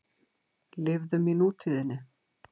Lifðum í nútíðinni.